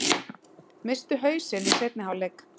Misstu hausinn í seinni hálfleik